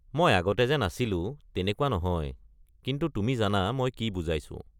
মই আগতে যে নাছিলোঁ তেনেকুৱা নহয়, কিন্তু তুমি জানা মই কি বুজাইছোঁ।